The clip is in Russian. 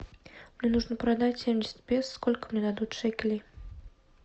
мне нужно продать семьдесят песо сколько мне дадут шекелей